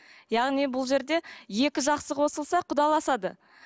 яғни бұл жерде екі жақсы қосылса құдаласады